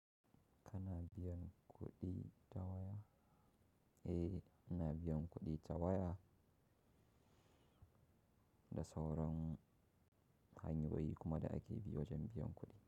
Ka na biyan kuɗi ta waya? Eh, na biyan kuɗi ta waya da sauran hanyoyi kuma da ake biya wajen biyan kuɗi.